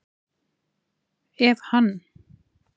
Ef hann